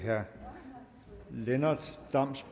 her